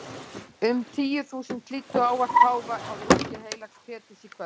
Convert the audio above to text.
Um tíu þúsund hlýddu á ávarp páfa á torgi heilags Péturs í kvöld.